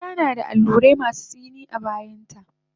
Bushiya nada allurai masu tsini a bayanta